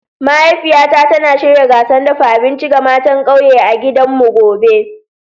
Mahaifiyata tana shirya gasar dafa abinci ga matan kauye a gidanmu gobe.